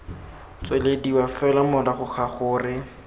tswelediwa fela morago ga gore